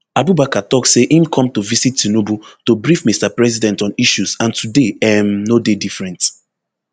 abubakar tok say im come to visit tinubu to brief mr president on issues and today um no dey different